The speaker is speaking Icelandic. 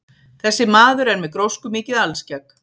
Þessi maður er með gróskumikið alskegg.